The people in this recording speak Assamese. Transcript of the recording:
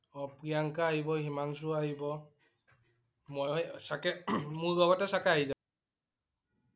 অ' প্ৰিয়ংকা আহিব. হিমাংশু আহিব মই ও চাগে হম মোৰ লগতে চাগে আহি যাব